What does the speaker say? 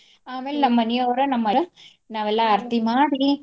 ಆಮೇಲ್ ನಮ್ ಮನಿಯೋರು ನಾವೆಲ್ಲ ಆರ್ತಿ ಮಾಡಿ.